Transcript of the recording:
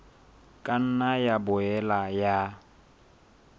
ka nna ya boela ya